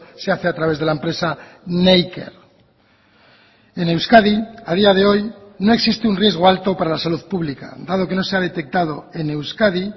se hace a través de la empresa neiker en euskadi a día de hoy no existe un riesgo alto para la salud pública dado que no se ha detectado en euskadi